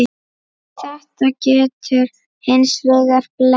Þetta getur hins vegar blekkt.